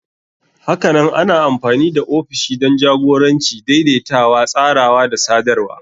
Hakanan ana amfani da ofishi don jagoranci, daidaitawa, tsarawa da sadarwa.